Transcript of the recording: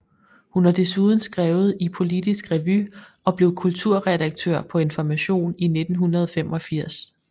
Hun har desuden skrevet i Politisk Revy og blev kulturredaktør på Information i 1985